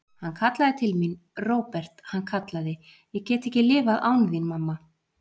Hann kallaði til mín, Róbert, hann kallaði: Ég get ekki lifað án þín, mamma.